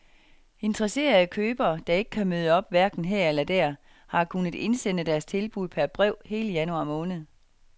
Interesserede købere, der ikke kan møde op hverken her eller der, har kunnet indsende deres tilbud per brev hele januar måned.